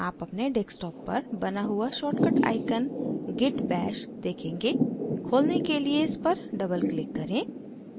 आप अपने desktop पर बना हुआ shortcut icon git bash देखेंगे खोलने के लिए इस पर doubleclick करें